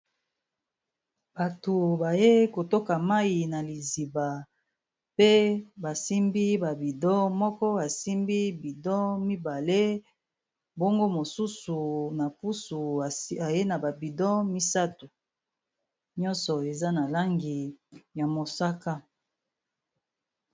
bato baye kotoka mayi na liziba pe basimbi babido moko asimbi bido mibale bongo mosusu na pusu aye na babido misato nyonso eza na langi ya mosaka